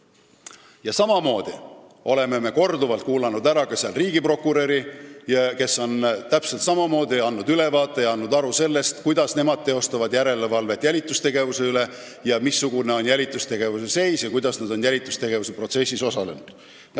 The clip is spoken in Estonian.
Ja me oleme seal korduvalt kuulanud ära ka riigiprokuröri, kes on täpselt samamoodi teinud ülevaate ja andnud aru, kuidas nemad teostavad järelevalvet jälitustegevuse üle, missugune on jälitustegevuse seis ja kuidas nad on jälitustegevuse protsessis osalenud.